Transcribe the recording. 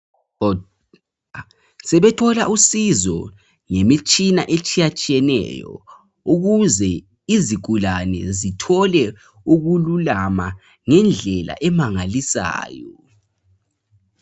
sebethola usizo ngemitshina etshiyatshiyeneyo ukuze izigulane zithole ukululama ngendlela emangalisayo